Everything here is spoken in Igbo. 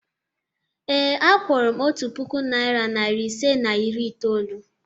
Ee, a kwụrụ m otu puku naịra nari ise na iri itoolu.